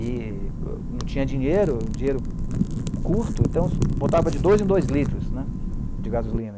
E não tinha dinheiro, dinheiro curto, então botava de dois em dois litros né, de gasolina.